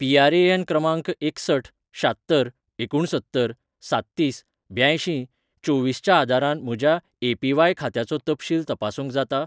PRAN. क्रमांक एकसठ शात्तर एकुणसत्तर साततीस ब्यांयशीं चोवीसच्या आदारान म्हज्या ए.पी.व्हाय. खात्याचो तपशील तपासूंक जाता?